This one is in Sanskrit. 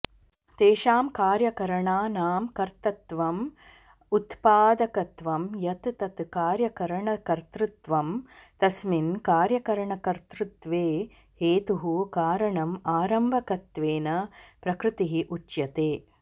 तेषां कार्यकरणानां कर्तृत्वं उत्पादकत्वं यत् तत् कार्यकरणकर्तृत्वं तस्मिन् कार्यकरणकर्तृत्वे हेतुः कारणं आरम्भकत्वेन प्रकृतिः उच्यते